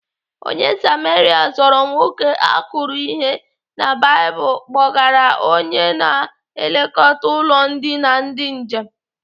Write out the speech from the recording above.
Onye Samaria zọrọ nwoke akụrụ ihe na Baịbụl kpọgara ya onye na-elekọta ụlọ ndina ndị njem.